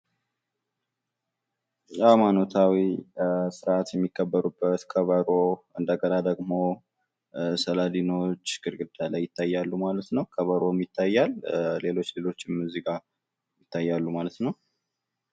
ሀይማኖታዊ ስርዓት የሚከበርበት ከበሮ እንደገና ደግምሰዕል አድኖወች ግድግዳ ላይ ይታያል ማለት ነው። ከበሮም ይታያል። ሌሎች ሌሎችም ይታያሉ ማለት ነው።